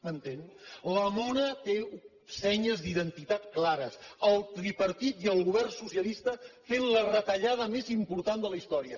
m’entén la mona té senyes d’identitats clares el tripartit i el govern socialista fent la retallada més important de la història